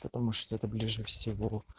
потому что это ближе всего